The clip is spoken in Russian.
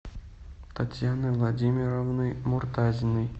татьяны владимировны муртазиной